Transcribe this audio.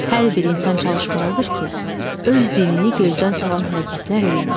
Hər bir insan çalışmalıdır ki, öz dinini gözdən salan hərəkətlər eləməsin.